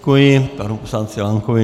Děkuji panu poslanci Lankovi.